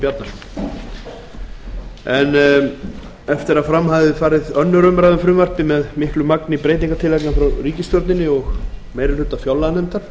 bjarnason eftir að fram hafði farið aðra umræðu um frumvarp til fjárlaga tvö þúsund og níu með miklu magni breytingartillagna frá ríkisstjórn og meiri hluta fjárlaganefndar